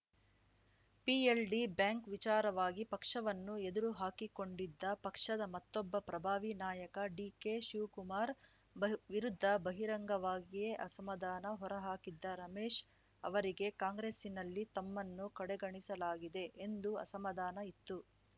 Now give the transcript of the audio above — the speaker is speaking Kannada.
ಪಿಎಲ್‌ಡಿ ಬ್ಯಾಂಕ್‌ ವಿಚಾರವಾಗಿ ಪಕ್ಷವನ್ನು ಎದುರು ಹಾಕಿಕೊಂಡಿದ್ದ ಪಕ್ಷದ ಮತ್ತೊಬ್ಬ ಪ್ರಭಾವಿ ನಾಯಕ ಡಿಕೆಶಿವ್ ಕುಮಾರ್‌ ಬಹ್ ವಿರುದ್ಧ ಬಹಿರಂಗವಾಗಿಯೇ ಅಸಮಾಧಾನ ಹೊರಹಾಕಿದ್ದ ರಮೇಶ್‌ ಅವರಿಗೆ ಕಾಂಗ್ರೆಸ್ಸಿನಲ್ಲಿ ತಮ್ಮನ್ನು ಕಡೆಗಣಿಸಲಾಗಿದೆ ಎಂದು ಅಸಮಾಧಾನ ಇತ್ತು